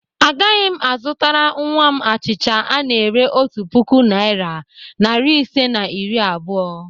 Agaghị m azụtara nnwa m achịcha ana-ere otu puku naịra, narị isii na iri abụọ.